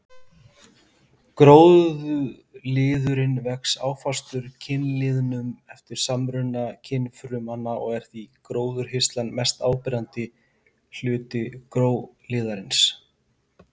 Gróliðurinn vex áfastur kynliðnum eftir samruna kynfrumanna og er gróhirslan mest áberandi hluti gróliðarins.